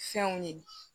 Fɛnw ye